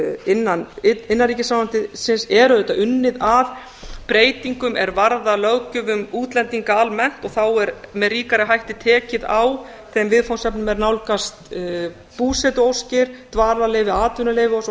innan innanríkisráðuneytisins er auðvitað unnið að breytingum er varða útlendinga almennt og þá er með ríkari hætti tekið á þeim viðfangsefnum er nálgast búsetuóskir dvalarleyfi atvinnuleyfi og svo